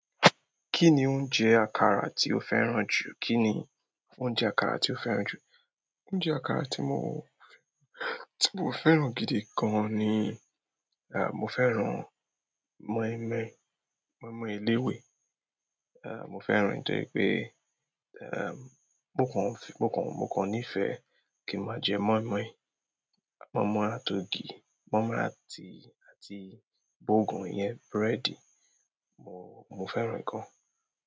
Kí ni oúnjẹ àkàrà tí o fẹ́ràn jù? Kí ni oúnjẹ àkàrà tí o fẹ́ràn jù? Oúnjẹ àkàrà tí mo fẹ́ràn gidi gan ni, mo fẹ́ràn moinmoin, moinmoin eléwé. Mo fẹ́ràn ẹ nítorí pé- mo kò ní ìfẹ́ rẹ, kí n má jẹ moinmoin, moinmoin àti ògì, moinmoin àti bogan, ìyẹn búrẹ́dì, mo fẹ́ràn ẹ gan.